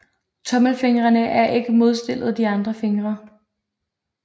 Tommelfingrene er ikke modstillet de andre fingre